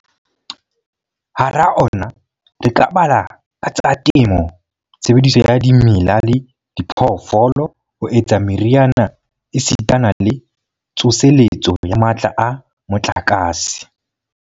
Hara ona re ka bala a tsa temo, tshebediso ya dimela le diphoofolo ho etsa meriana esitana le tsoseletso ya matla a motlakase.